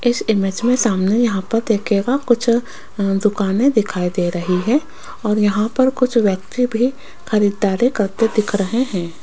इस इमेज में सामने यहां पर देखिएगा कुछ अह दुकानें दिखाई दे रही है और यहां पर कुछ व्यक्ति भी खरीदारी करते दिख रहे हैं।